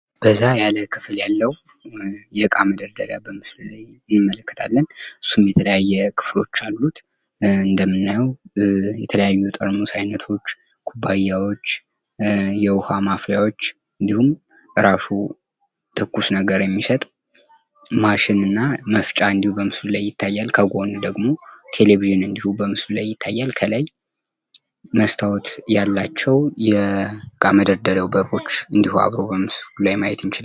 በዛ ያለ ክፍል ያለው የእቃ መደርደሪያ በምስሉ ላይ እንመለከታለን። እሱም የተለያየ ክፍሎች አሉት። እንደምናየው የተለያዩ የጠርሙስ አይነቶች ኩባያዎች የውሃ ማፍያዎች እንድሁም ራሱ ትኩስ ነገር የሚሰጥ ማሽንና መፍጫ እንድሁ ይታያል ከጎን ደግሞ ቴሌቪዥን እንድሁ በምስሉ ላይ ይታያል። ከላይ መስታወት ያላቸው የእቃ መደርደሪያው በሮች በምስሉ ላይ ማየት እንችላለን።